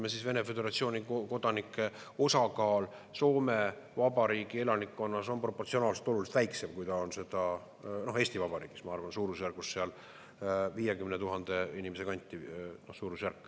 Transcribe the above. Tõsi küll, Vene föderatsiooni kodanike osakaal Soome Vabariigi elanikkonnas on proportsionaalselt oluliselt väiksem, kui ta on seda Eesti Vabariigis – ma arvan, suurusjärgus seal 50 000 inimese kanti.